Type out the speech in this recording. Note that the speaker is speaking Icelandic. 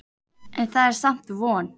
En það er samt von.